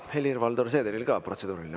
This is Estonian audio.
Helir-Valdor Seederil on ka protseduuriline.